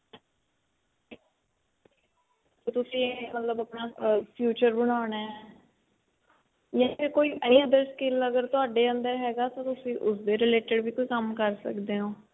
ਵੀ ਤੁਸੀਂ ਆਪਣਾ ਮਤਲਬ future ਬਣਾਉਣਾ ਜਾ ਕੋਈ any other skill ਤੁਹਾਡੇ ਅੰਦਰ ਹੈਗਾ ਤਾਂ ਤੁਸੀਂ ਉਸਦੇ related ਵੀ ਕੋਈ ਕੰਮ ਕਰ ਸਕਦੇ ਹੋ